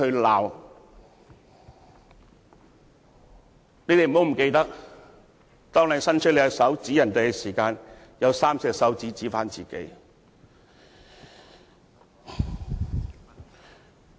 你們不要忘記，當你伸出你的手指指向別人的同時，也有3隻手指指向自己。